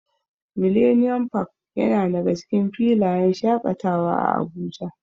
Millennium park yana daga cikin filayen shaƙatawa a Abuja.